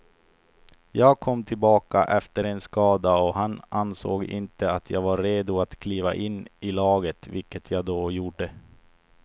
Jag kom tillbaka efter en skada och han ansåg inte att jag var redo att kliva in i laget, vilket jag då gjorde.